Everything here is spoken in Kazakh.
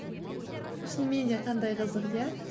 шынымен де қандай қызық иә